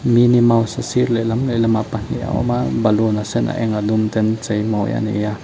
mini mouse a sir lehlam lehlamah pahnih a awm a baloon a sen a eng a dum ten an cheimawi a ni a.